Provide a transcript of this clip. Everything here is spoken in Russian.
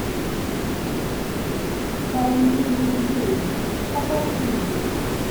стальные двери покажи мне